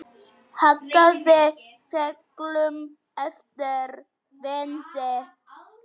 Hagaði seglum eftir vindi.